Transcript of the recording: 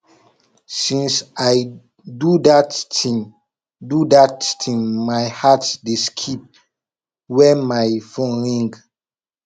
since i do dat thing do dat thing my heart dey skip wen my phone ring